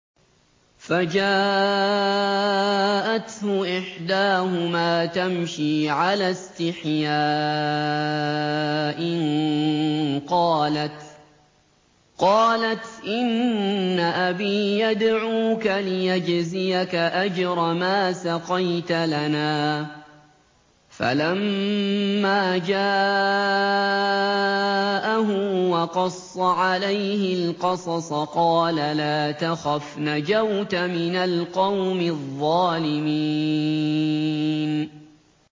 فَجَاءَتْهُ إِحْدَاهُمَا تَمْشِي عَلَى اسْتِحْيَاءٍ قَالَتْ إِنَّ أَبِي يَدْعُوكَ لِيَجْزِيَكَ أَجْرَ مَا سَقَيْتَ لَنَا ۚ فَلَمَّا جَاءَهُ وَقَصَّ عَلَيْهِ الْقَصَصَ قَالَ لَا تَخَفْ ۖ نَجَوْتَ مِنَ الْقَوْمِ الظَّالِمِينَ